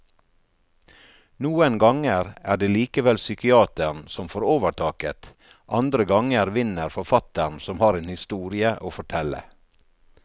Noen ganger er det likevel psykiateren som får overtaket, andre ganger vinner forfatteren som har en historie å fortelle.